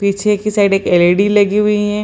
पीछे के साइड एक एल.ई.डी. लगी हुई है।